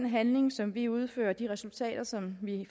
handlinger som vi udfører og de resultater som vi